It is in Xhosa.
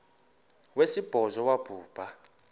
wesibhozo wabhu bha